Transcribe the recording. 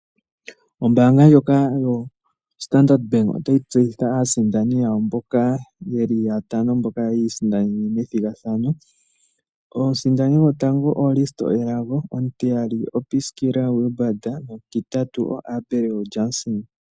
Ombaanga ndjoka yo Standard bank otayi tseyitha aasindani yawo mboka yeli yatano mboka ya isindanene methigathano omusindani gotango o Risto Elago ,omutiyali o Piskila Wilbard nomutitatu o Abel Jason.